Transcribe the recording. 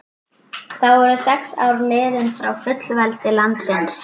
Þá voru sex ár liðin frá fullveldi landsins.